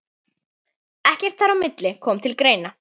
Ekkert þar á milli kom til greina.